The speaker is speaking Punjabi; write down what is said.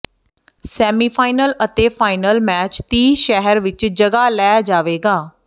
ਸੈਮੀਫਾਈਨਲ ਅਤੇ ਫਾਈਨਲ ਮੈਚ ਤੀਹ ਸ਼ਹਿਰ ਵਿਚ ਜਗ੍ਹਾ ਲੈ ਜਾਵੇਗਾ